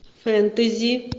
фэнтези